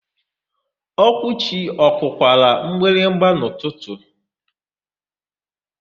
Okwuchi ọ kụkwara mgbịrịgba n'ụtụtụ?